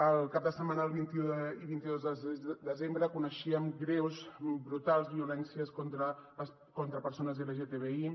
el cap de setmana del vint un i vint dos de desembre coneixíem greus brutals violències contra persones lgtbi